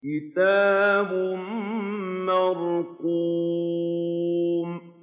كِتَابٌ مَّرْقُومٌ